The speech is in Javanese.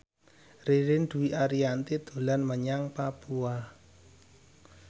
Ririn Dwi Ariyanti dolan menyang Papua